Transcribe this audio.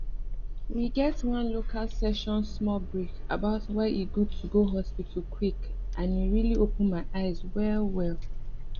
we get one local session small break about why e good to go hospital quick and e really open my eyes well well